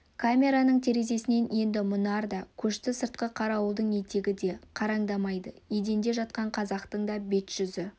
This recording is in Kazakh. камераның терезесінен енді мұнар да көшті сыртқы қарауылдың етігі де қараңдамайды еденде жатқан қазақтың да бет-жүзі